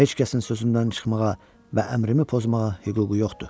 Heç kəsin sözündən çıxmağa və əmrimi pozmağa hüququ yoxdur.